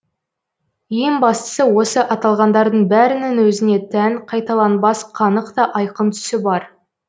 ең бастысы осы аталғандардың бәрінің өзіне тән қайталанбас қанық та айқын түсі бар